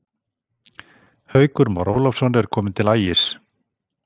Haukur Már Ólafsson er kominn til Ægis.